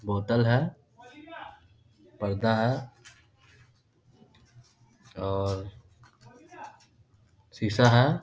बोतल है पर्दा है और शीशा है।